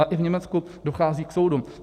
A i v Německu dochází k soudu.